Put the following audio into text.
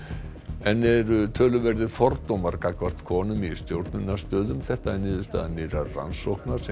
enn eru töluverðir fordómar gagnvart konum í stjórnunarstöðum þetta er niðurstaða nýrrar rannsóknar sem